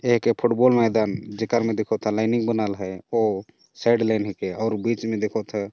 एक फुटबॉल मैदान जेकर मे देखो ता लाइनिंग बनाल हे ओ साइड लेने के और बीच में देखो ता।